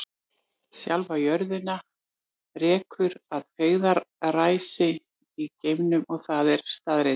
Sjálfa jörðina rekur að feigðarósi í geimnum og það er staðreynd.